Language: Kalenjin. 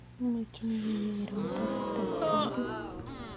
Amakyinige kegerwan tabut ab tairit